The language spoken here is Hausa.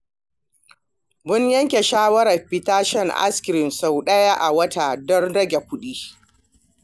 Mun yanke shawarar fita shan ice cream sau ɗaya a wata don rage kuɗi.